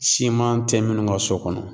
Siman tɛ minnu ka so kɔnɔ